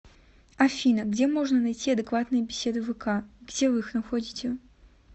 афина где можно найти адекватные беседы вк где вы их находите